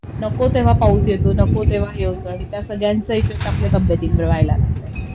नको तेंव्हा पाऊस येतो नको तेंव्हा हे होत आणि त्या सगळ्यांचा इफेक्ट आपल्या तब्येतींवर व्हायला लागलाय